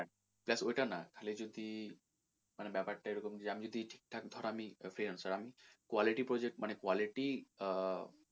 না ওটা না খালি যদি মানে ব্যাপার টা এরকম যে আমি যদি ঠিকঠাক ধর আমি freelancer আমি quality project মানে quality আহ